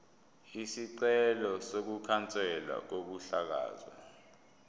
isicelo sokukhanselwa kokuhlakazwa